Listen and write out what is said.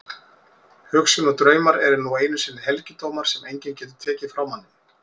Hugsun og draumar eru nú einu sinni helgidómar sem enginn getur tekið frá manni.